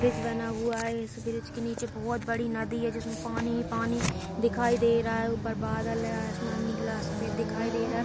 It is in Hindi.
ब्रिज बना हुआ है इस ब्रिज के नीचे बहोत बड़ी नदी है जिसमें पानी ही पानी दिखाई दे रहा है ऊपर बादल है और आसमान निकला सफ़ेद दिखाई दे रहा है।